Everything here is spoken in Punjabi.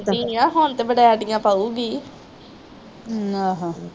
ਆ ਹੁਣ ਤੇ ਵਰੇਟੀਆ ਪਾਊਗੀ